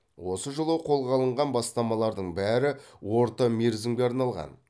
осы жылы қолға алынған бастамалардың бәрі орта мерзімге арналған